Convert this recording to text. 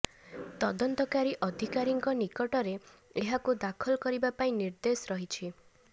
ତଦନ୍ତକାରୀ ଅଧିକାରୀଙ୍କ ନିକଟରେ ଏହାକୁ ଦାଖଲ କରିବା ପାଇଁ ନିର୍ଦ୍ଦେଶ ରହିଛି